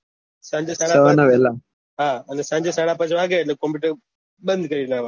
સાંજે સાડા પાંચ વાગે એટલે કોમ્પુટર બંદ કરીને ને આવાના